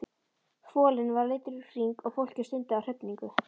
Folinn var leiddur í hring og fólkið stundi af hrifningu.